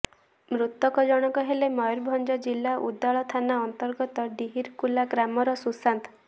ମୃତକ ଜଣକ ହେଲେ ମୟୂରଭଞ୍ଜ ଜିଲ୍ଲା ଉଦଳା ଥାନା ଅନ୍ତର୍ଗତ ଡିହିରକୁଲା ଗ୍ରାମର ସୁଶାନ୍ତ